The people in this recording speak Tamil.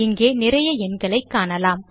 இங்கே நிறைய எண்களை காணலாம்